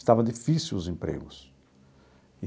Estava difícil os empregos.